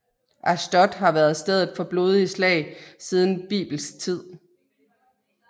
Ashdod har været stedet for blodige slag siden bibelsk tid